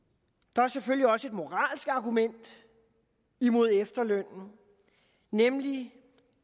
der er selvfølgelig også et moralsk argument imod efterlønnen nemlig